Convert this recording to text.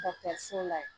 so la yen